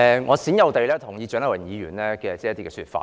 我罕有地認同蔣麗芸議員的一些說法。